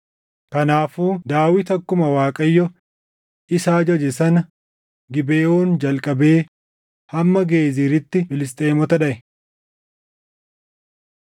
Kanaafuu Daawit akkuma Waaqayyo isa ajaje sana Gibeʼoon jalqabee hamma Geeziritti Filisxeemota dhaʼe.